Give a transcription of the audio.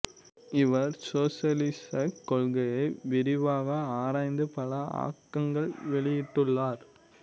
இவர் சோசலிசக் கொள்கையை விரிவாக ஆராய்ந்து பல ஆக்கங்கள் வெளியிட்டுள்ளார்